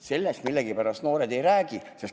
Sellest millegipärast noored ei räägi.